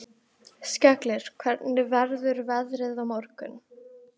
Skellir, hvernig verður veðrið á morgun?